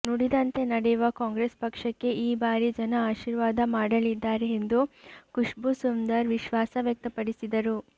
ನುಡಿದಂತೆ ನಡೆಯುವ ಕಾಂಗ್ರೆಸ್ ಪಕ್ಷಕ್ಕೆ ಈ ಬಾರಿ ಜನ ಆಶೀರ್ವಾದ ಮಾಡಲಿದ್ದಾರೆ ಎಂದು ಖುಷ್ಬೂ ಸುಂದರ್ ವಿಶ್ವಾಸ ವ್ಯಕ್ತಪಡಿಸಿದರು